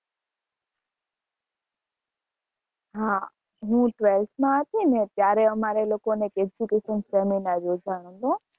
હ હું twelfth માં હતી ને ત્યારે અમારે લોકો ને education seminar યોજાણો હતો